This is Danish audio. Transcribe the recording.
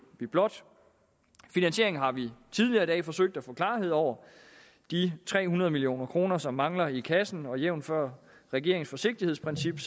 vi blot finansieringen har vi tidligere i dag forsøgt at få klarhed over de tre hundrede million kr som mangler i kassen og jævnfør regeringens forsigtighedsprincip